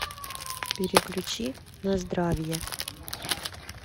переключи на здравие